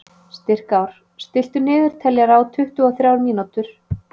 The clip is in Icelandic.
Styrkár, stilltu niðurteljara á tuttugu og þrjár mínútur.